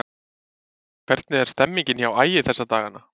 Hvernig er stemningin hjá Ægi þessa dagana?